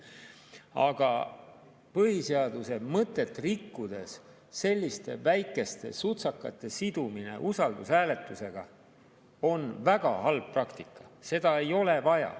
Aga põhiseaduse mõtet rikkudes selliste väikeste sutsakate sidumine usaldushääletusega on väga halb praktika, seda ei ole vaja.